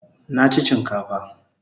Nachi chinkafa